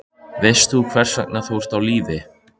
Veist þú hvers vegna þú ert á lífi?